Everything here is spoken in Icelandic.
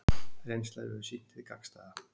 Reynslan hefur sýnt hið gagnstæða